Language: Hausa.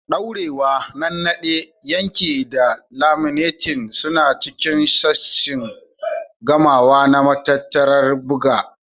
Daurewa, Nannaɗe, Yanke da Laminating suna cikin sashin gamawa na matattarar buga.